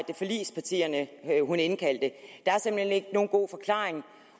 er forligspartierne hun indkaldte der er simpelt hen ikke nogen god forklaring